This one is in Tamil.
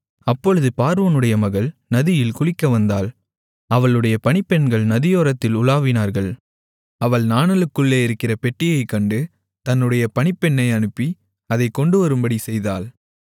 அப்பொழுது பார்வோனுடைய மகள் நதியில் குளிக்க வந்தாள் அவளுடைய பணிப்பெண்கள் நதியோரத்தில் உலாவினார்கள் அவள் நாணலுக்குள்ளே இருக்கிற பெட்டியைக் கண்டு தன்னுடைய பணிப்பெண்ணை அனுப்பி அதைக் கொண்டுவரும்படிச் செய்தாள்